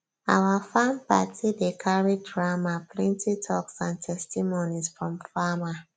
our farm party dey carry drama plenty talks and testimonies from farmer